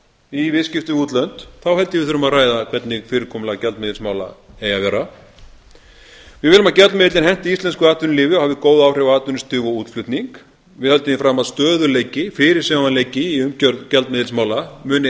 í viðskiptum við útlönd þá held ég að við þurfum að ræða hvernig fyrirkomulag gjaldeyrismála eigi að vera við viljum að gjaldmiðillinn henti íslensku atvinnulífi hafi góð áhrif á atvinnustig og útflutning við höldum því að stöðugleiki fyrirsjáanleiki í gjaldmiðilsmála muni